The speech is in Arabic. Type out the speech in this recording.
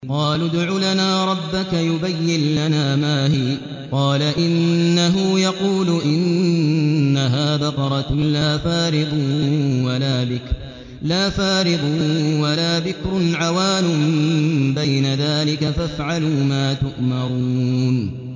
قَالُوا ادْعُ لَنَا رَبَّكَ يُبَيِّن لَّنَا مَا هِيَ ۚ قَالَ إِنَّهُ يَقُولُ إِنَّهَا بَقَرَةٌ لَّا فَارِضٌ وَلَا بِكْرٌ عَوَانٌ بَيْنَ ذَٰلِكَ ۖ فَافْعَلُوا مَا تُؤْمَرُونَ